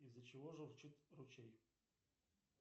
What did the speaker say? из за чего журчит ручей